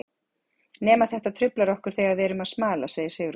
Nema þetta truflar okkur þegar við erum að smala, segir Sigrún.